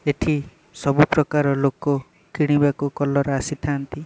ଏଠି ସବୁ ପ୍ରକାର ଲୋକ କିଣିବାକୁ କଲର୍ ଆସିଥାନ୍ତି।